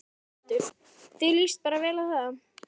Hjörtur: Þér lýst bara vel á það?